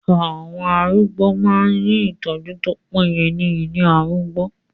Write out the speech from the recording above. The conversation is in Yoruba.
Àwọn arúgbó máa ń rí ìtọ́jú tó péye ní ilé arúgbó.